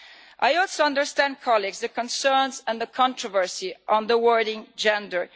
I also understand, colleagues, the concerns and the controversy surrounding the word gender'.